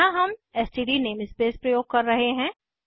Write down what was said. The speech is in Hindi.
यहाँ हम एसटीडी नेमस्पेस प्रयोग कर रहे हैं